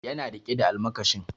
Yana riƙe da almakashin